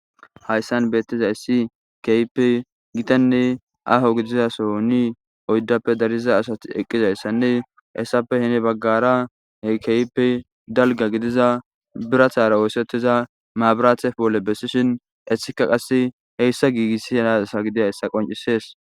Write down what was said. Hayissan betizayissi kehippe gitanne aho gidizza sohonni oyidappe dariza asati eqizayissanne hessappe heni bagara kehippe daligga gidiza biratayi de'ees.